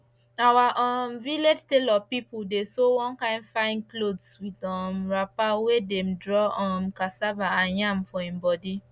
our um village tailor pipo dey sew one kind fine clothes with um wrapper wey dem draw um cassava and yam for im body